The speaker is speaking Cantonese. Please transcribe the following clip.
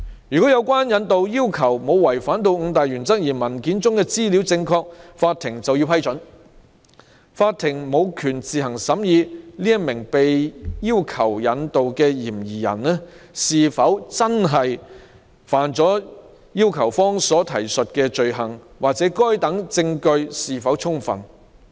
如果引渡要求沒有違反五大原則，而文件的資料正確，法庭就要給予批准，並無權自行審議被要求引渡的嫌疑人是否犯了要求方提述的罪行或該等證據是否充分。